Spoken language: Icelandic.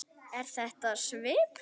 Er þetta svipuð